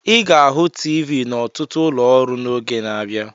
Ị ga-ahụ TV n'ọtụtụ ụlọ ọrụ n'oge na-abịa.